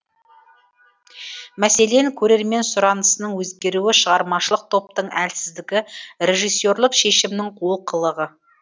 мәселен көрермен сұранысының өзгеруі шығармашылық топтың әлсіздігі режиссерлік шешімнің олқылығы